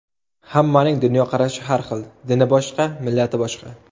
Hammaning dunyoqarashi har xil, dini boshqa, millati boshqa.